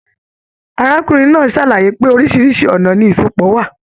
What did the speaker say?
Arákùnrin náà sàlàyé pé, oríṣiríṣi ọnà ni isọpọ wà.